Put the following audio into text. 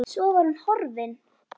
Svo var hún farin.